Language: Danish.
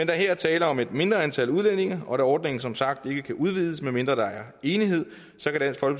der her er tale om et mindre antal udlændinge og ordningen som sagt ikke kan udvides medmindre der er enighed